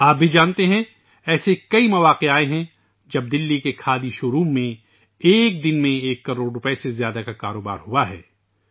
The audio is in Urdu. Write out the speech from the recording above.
آپ یہ بھی جانتے ہیں کہ ایسے کئی مواقع آئے ہیں جب دہلی کے کھادی شوروم نے ایک دن میں ایک کروڑ روپے سے زیادہ کا کاروبار کیا ہے